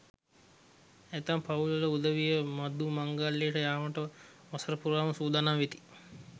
ඇතැම් පවුල් වල උදවිය මඩු මංගල්‍යයට යාමට වසර පුරාම සූදානම් වෙති.